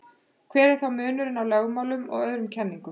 hver er þá munurinn á lögmálum og öðrum kenningum